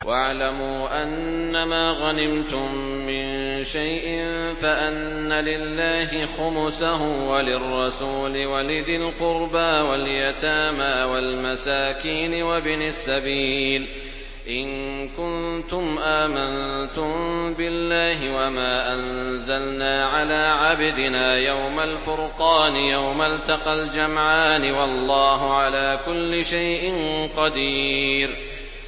۞ وَاعْلَمُوا أَنَّمَا غَنِمْتُم مِّن شَيْءٍ فَأَنَّ لِلَّهِ خُمُسَهُ وَلِلرَّسُولِ وَلِذِي الْقُرْبَىٰ وَالْيَتَامَىٰ وَالْمَسَاكِينِ وَابْنِ السَّبِيلِ إِن كُنتُمْ آمَنتُم بِاللَّهِ وَمَا أَنزَلْنَا عَلَىٰ عَبْدِنَا يَوْمَ الْفُرْقَانِ يَوْمَ الْتَقَى الْجَمْعَانِ ۗ وَاللَّهُ عَلَىٰ كُلِّ شَيْءٍ قَدِيرٌ